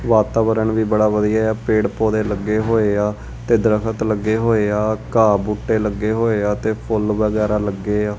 ਵਾਤਾਵਰਣ ਵੀ ਬੜਾ ਵਧੀਆ ਏ ਆ ਪੇੜ ਪੌਧੇ ਲੱਗੇ ਹੋਏ ਆ ਤੇ ਦਰਖਤ ਲੱਗੇ ਹੋਏ ਆ ਘਾਹ ਬੂਟੇ ਲੱਗੇ ਹੋਏ ਆ ਤੇ ਫੁੱਲ ਵਗੈਰਾ ਲੱਗੇ ਆ।